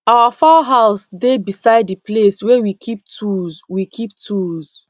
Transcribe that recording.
our fowl house dey beside the place wey we keep tools we keep tools